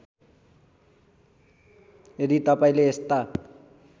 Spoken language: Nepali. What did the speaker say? यदि तपाईँले यस्ता